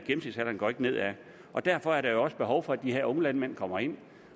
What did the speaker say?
og derfor er der jo behov for at de her unge landmænd kommer ind i